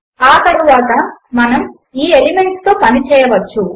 ఆ తరువాత మనము ఈ ఎలిమెంట్స్ తో పని చేయవచ్చు